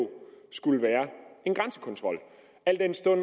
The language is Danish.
skulle være en grænsekontrol al den stund